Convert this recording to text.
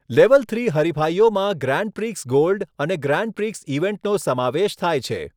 Level three હરિફાઇઓમાં grand prix gold અને grand prix ઇવેન્ટનો સમાવેશ થાય છે.